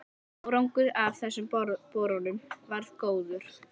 Árangur af þessum borunum varð góður.